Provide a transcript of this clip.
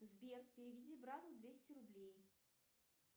сбер переведи брату двести рублей